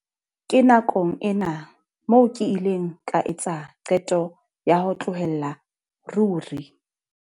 Ke nakong ena moo ke ileng ka etsa qeto ya ho tlohella ruri.